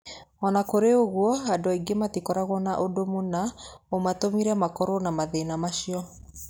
O na kũrĩ ũguo, andũ aingĩ matikoragwo na ũndũ mũna ũmatũmire makorũo na mathĩna macio.